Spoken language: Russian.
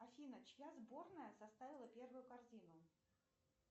афина чья сборная составила первую корзину